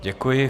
Děkuji.